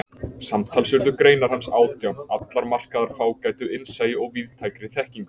Samtals urðu greinar hans átján, allar markaðar fágætu innsæi og víðtækri þekkingu.